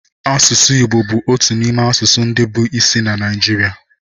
Asụsụ Igbo bụ otu n'ime asụsụ ndị bụ isi na Naịjirịa